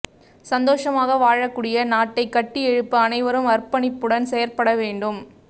சந்தோஷமாக வாழக் கூடிய நாட்டைக் கட்டியெழுப்ப அனைவரும் அர்ப்பணிப்புடன் செயற்பட வேண்டும்